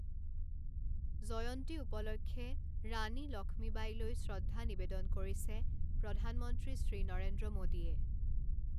জয়ন্তী উপলক্ষে ৰাণী লক্ষ্মীবাঈলৈ শ্ৰদ্ধা নিবেদন কৰিছে প্ৰধানমন্ত্ৰী শ্ৰী নৰেন্দ্ৰ মোদীয়ে।